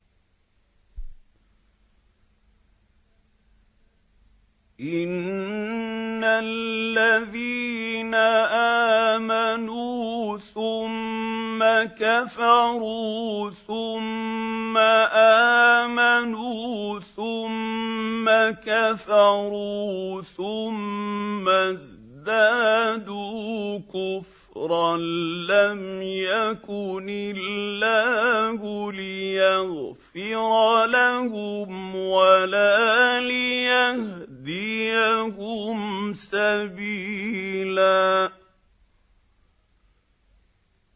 إِنَّ الَّذِينَ آمَنُوا ثُمَّ كَفَرُوا ثُمَّ آمَنُوا ثُمَّ كَفَرُوا ثُمَّ ازْدَادُوا كُفْرًا لَّمْ يَكُنِ اللَّهُ لِيَغْفِرَ لَهُمْ وَلَا لِيَهْدِيَهُمْ سَبِيلًا